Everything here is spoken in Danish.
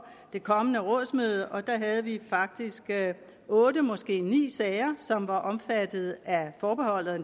det kommende rådsmøde og der havde vi faktisk otte måske ni sager som var omfattet af forbeholdet og